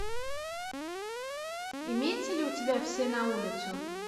имеется ли у тебя все на улицу